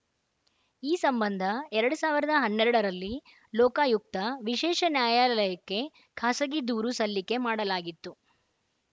ಈ ಸಂಬಂಧ ಎರಡ್ ಸಾವಿರದ ಹನ್ನೆರಡರಲ್ಲಿ ಲೋಕಾಯುಕ್ತ ವಿಶೇಷ ನ್ಯಾಯಾಲಯಕ್ಕೆ ಖಾಸಗಿ ದೂರು ಸಲ್ಲಿಕೆ ಮಾಡಲಾಗಿತ್ತು